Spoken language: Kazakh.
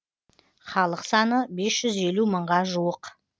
халық саны бес жүз елу мыңға жуық